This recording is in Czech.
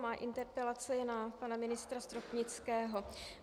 Má interpelace je na pana ministra Stropnického.